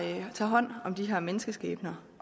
tager hånd om de her menneskeskæbner